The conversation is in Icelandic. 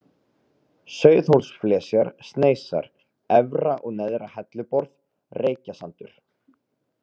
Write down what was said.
Sauðhólsflesjar, Sneisar, Efra- og Neðra-Helluborð, Reykjasandur